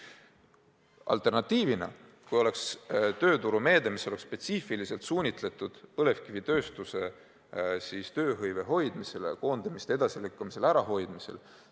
Alternatiiv oleks tööturumeede, mis oleks spetsiifiliselt suunatud põlevkivitööstuses tööhõive hoidmisele, koondamiste edasilükkamisele ja ärahoidmisele.